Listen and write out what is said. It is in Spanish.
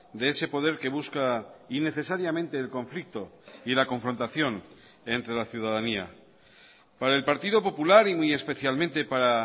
de ese poder que busca innecesariamente el conflicto y la confrontación entre la ciudadanía para el partido popular y muy especialmente para